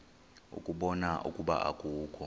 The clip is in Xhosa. ukubona ukuba akukho